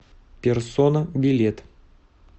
персона билет